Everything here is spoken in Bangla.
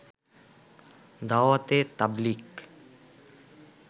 দাওয়াতে তাবলীগ